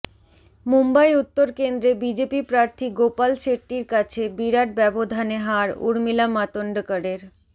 মুম্বই উত্তর কেন্দ্রে বিজেপি প্রার্থী গোপাল শেট্টির কাছে বিরাট ব্যবধানে হার ঊর্মিলা মাতোন্ডকরের